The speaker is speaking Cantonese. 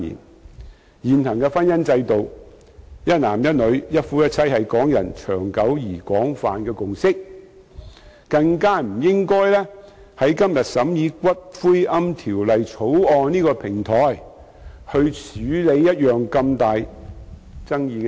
在現行的婚姻制度下，"一男一女"、"一夫一妻"是港人長久而廣泛的共識，不應在今天審議《私營骨灰安置所條例草案》的平台上處理如此具重大爭議的問題。